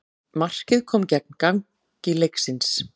Markið kom gegn gangi leiksins